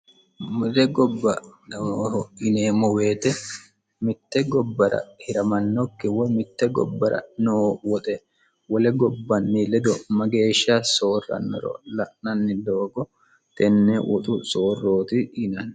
wole gobba noohahidhineemmo wote mitte gobbara hiramannokki hiramannokki wole gobba ledo mageeshsha soorrannoro la'nanni doogo tenne woxu soorrooti yinanni.